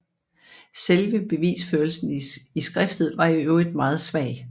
Selve bevisførelsen i skriftet var i øvrigt meget svag